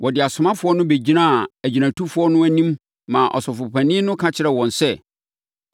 Wɔde asomafoɔ no bɛgyinaa agyinatufoɔ no anim maa Ɔsɔfopanin no ka kyerɛɛ wɔn sɛ,